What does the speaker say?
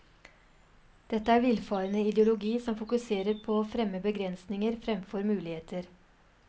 Dette er en villfarende ideologi som fokuserer på og fremmer begrensninger fremfor muligheter.